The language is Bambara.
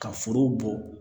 Ka foro bɔ